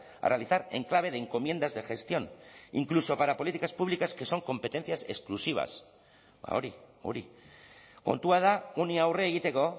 a realizar en clave de encomiendas de gestión incluso para políticas públicas que son competencias exclusivas ba hori hori kontua da honi aurre egiteko